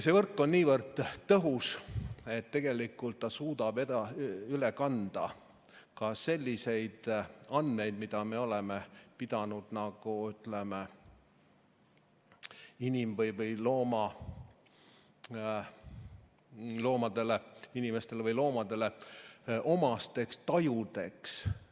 See võrk on niivõrd tõhus, et tegelikult suudab see üle kanda ka selliseid andmeid, mida me oleme pidanud nagu, ütleme, inimestele või loomadele omasteks tajudeks.